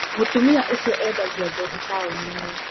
Mũtumia ũcio endagia njohi taũni-inĩ.